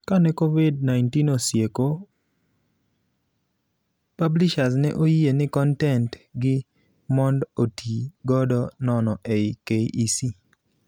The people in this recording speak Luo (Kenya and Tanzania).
Kane Covid-19 osieko, Pulishers ne oyie ni kontent gi mond otii godo nono ei KEC.